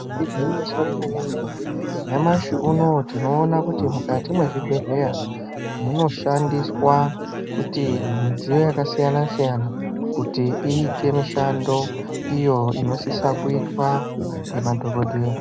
Igwinyiso remene-mene, nyamashi unouyu tinoona kuti mukati mwezvibhedhleya munoshandiswa kuti midziyo yakasiyana-siyana, kuti iite mishando iyo inosisa kuitwa ngemadhogodheya.